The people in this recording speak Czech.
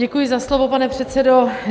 Děkuji za slovo, pane předsedo.